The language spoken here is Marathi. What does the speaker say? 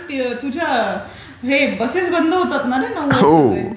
कारण तुझ्या बसेस बंद होतात ना रे नॉर्मल.